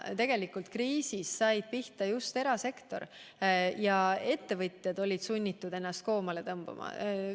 Tegelikult sai kriisis pihta just erasektor, ettevõtjad olid sunnitud ennast koomale tõmbama.